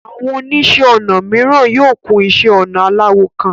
Àwọn oníṣẹ́ ọnà mìíràn yóò kún iṣẹ́ ọnà aláwọ̀ kan.